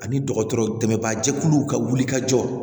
Ani dɔgɔtɔrɔ dɛmɛbagajɛkuluw ka wuli ka jɔ